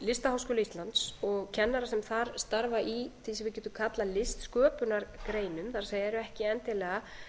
listaháskóla íslands og kennara sem þar starfa í því sem við getum kallað listsköpunargreinum það er eru ekki endilega